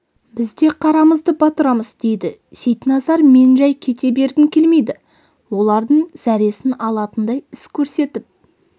біз де қарамызды батырамыз дейді сейтназар мен жай кете бергім келмейді олардың зәресін алатындай іс көрсетіп